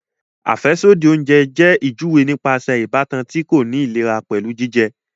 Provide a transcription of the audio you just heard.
Afẹsodi oúnjẹ jẹ ijuwe nípasẹ ìbátan ti ko ni ìlera pẹlu jijẹ